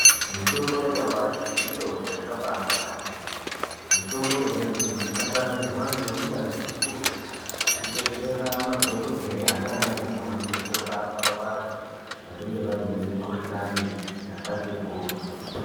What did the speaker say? Mitombo yanyamashi mitombo yakabaanaka maningi. Mitombo yona iyoyo yakanasirwa ngeunyanzvi ukurutu hwekubetsera madhokodheya naanamukoti kurapa vanhu vanenge vaine mikhuhlani yakati kuti.